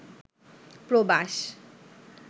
প্রবাস